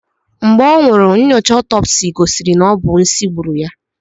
Mgbe ọ nwụrụ, nnyocha ọtọpsi gosiri na ọ bụ nsị gburu ya.